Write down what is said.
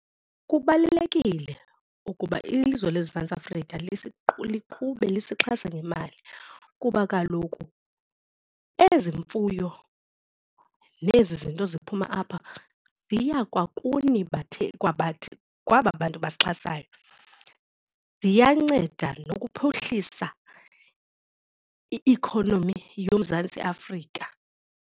Kubalulekile ukuba ilizwe loMzantsi Afrika liqhubele lisixhasa ngemali kuba kaloku ezi mfuyo nezi zinto ziphuma apha ziya kwa kuni kwaba bantu basixhasayo. Ziyanceda nokuphuhlisa i-economy yoMzantsi Afrika.